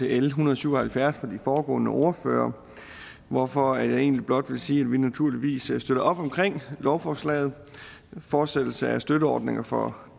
l en hundrede og syv og halvfjerds fra de foregående ordførere hvorfor jeg egentlig blot vil sige at vi naturligvis støtter op om lovforslaget og fortsættelse af støtteordninger for